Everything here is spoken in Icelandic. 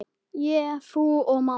Ég, þú og mamma.